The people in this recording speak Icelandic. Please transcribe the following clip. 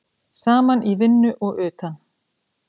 Saman í vinnu og utan.